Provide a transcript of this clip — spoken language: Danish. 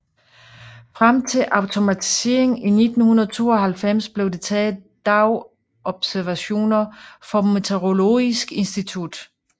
Frem til automatiseringen i 1992 blev der taget dagobservationer for Meteorologisk institutt